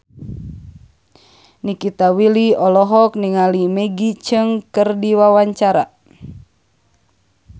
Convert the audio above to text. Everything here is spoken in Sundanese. Nikita Willy olohok ningali Maggie Cheung keur diwawancara